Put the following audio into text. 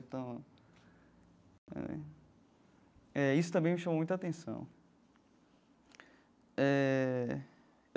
Então né eh isso também me chamou muita atenção eh.